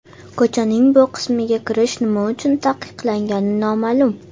Ko‘chaning bu qismiga kirish nima uchun taqiqlangani noma’lum.